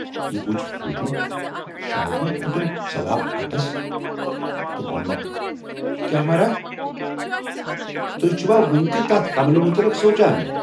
یہِ بوٗزِتھ سوٗنچُم"شاید ما کھوتُم ثواب اَٹس"تہٕ وونمکھ"کیاہ مہراہ، تُہۍ چھِوا وُنہِ تہِ تَتھ کملہِ مُتلق سونچان۔